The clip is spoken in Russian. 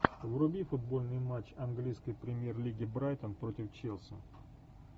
вруби футбольный матч английской премьер лиги брайтон против челси